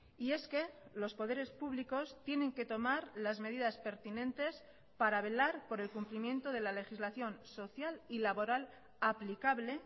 y es que los poderes públicos tienen que tomar las medidas pertinentes para velar por el cumplimiento de la legislación social y laboral aplicable